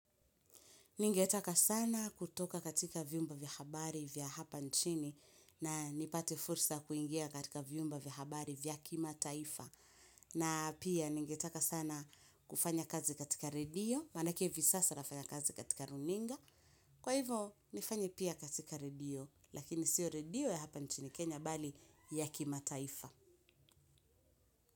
Ningetaka sana kutoka katika viumba vya habari vya hapa nchini na nipate fursa kuingia katika viumba vya habari vya kimataifa. Na pia ningetaka sana kufanya kazi katika redio, manake hivi sasa nafanya kazi katika runinga. Kwa hivo, nifanye pia katika redio, lakini siyo redio ya hapa nchini Kenya bali ya kima taifa.